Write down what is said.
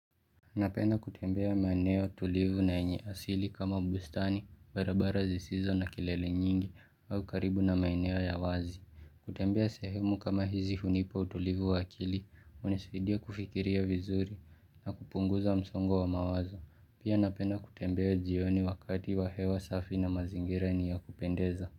Napenda kutembea maeneo tulivu na yenye asili kama bustani, barabara zisizo na kelele nyingi au karibu na maeneo ya wazi. Kutembea sehemu kama hizi hunipa utulivu wa akili, hunisaidia kufikiria vizuri na kupunguza msongo wa mawazo. Pia napenda kutembea jioni wakati wa hewa safi na mazingira ni ya kupendeza.